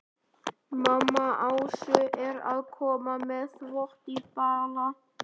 Mamma Ásu er að koma með þvott í bala.